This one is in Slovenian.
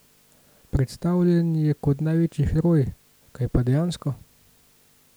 Predstavljen je kot največji heroj, kaj pa je dejansko?